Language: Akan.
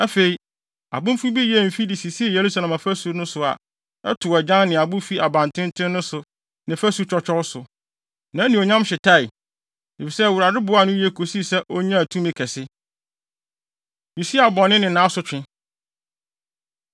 Afei, abenfo bi yɛɛ mfi de sisii Yerusalem afasu no so a ɛtow agyan ne abo fi abantenten no so ne fasu twɔtwɔw so. Nʼanuonyam hyetae, efisɛ Awurade boaa no yiye kosii sɛ onyaa tumi kɛse. Usia Bɔne Ne Nʼasotwe